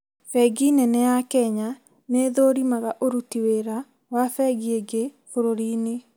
Bengi nene ya Kenya nĩ ithũrimaga ũruti wĩra wa bengi ingĩ bũrũrinĩ